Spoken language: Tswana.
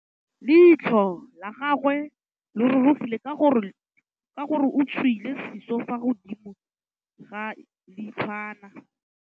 Leitlhô la gagwe le rurugile ka gore o tswile sisô fa godimo ga leitlhwana.